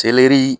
Selɛri